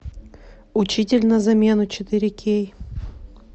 учитель на замену четыре кей